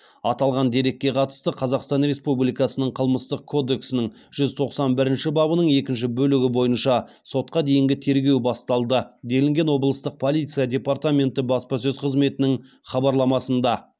аталған дерекке қатысты қазақстан республикасының қылмыстық кодексінің жүз тоқсан бірінші бабының екінші бөлігі бойынша сотқа дейінгі тергеу басталды делінген облыстық полиция департаменті баспасөз қызметінің хабарламасында